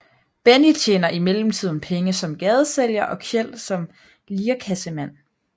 Benny tjener i mellemtiden penge som gadesælger og Kjeld som lirekassemand